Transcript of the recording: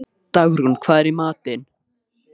Dagrún, hvað er í matinn?